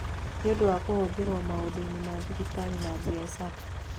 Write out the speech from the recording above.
Nĩ ũndũ wa kũhũthĩrũo maũndũ-inĩ ma thibitarĩ na biacara.